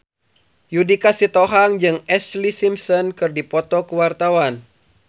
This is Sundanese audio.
Judika Sitohang jeung Ashlee Simpson keur dipoto ku wartawan